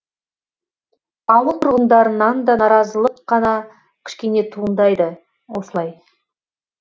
ауыл тұрғындарынан да наразылық қана кішкене туындайды осылай